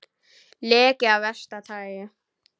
Leki af versta tagi